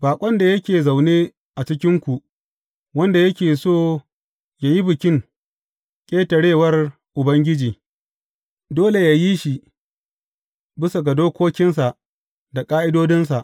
Baƙon da yake zaune a cikinku wanda yake so yă yi Bikin Ƙetarewar Ubangiji, dole yă yi shi bisa ga dokokinsa da ƙa’idodinsa.